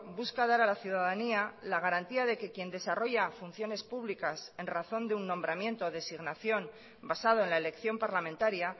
busca dar a la ciudadanía la garantía de que quien desarrolla funciones públicas en razón de un nombramiento o designación basado en la elección parlamentaria